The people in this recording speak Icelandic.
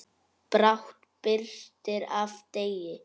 Brátt birtir af degi.